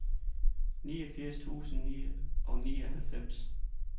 niogfirs tusind og nioghalvfems